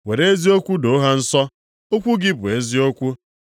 Were eziokwu doo ha nsọ, okwu gị bụ eziokwu.